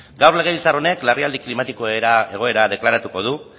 gaur legebiltzar honek larrialdi klimatiko egoera deklaratuko du